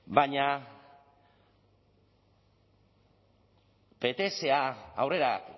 baina ptsa aurrera